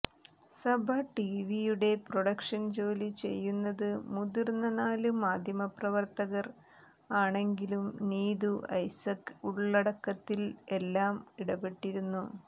സഭ ടീവിയുടെ പ്രൊഡക്ഷൻ ജോലി ചെയ്യുന്നത് മുതിർന്ന നാല് മാധ്യമ പ്രവർത്തകർ ആണെങ്കിലും നീതു ഐസക് ഉള്ളടക്കത്തിൽ എല്ലാം ഇടപെട്ടിരുന്നു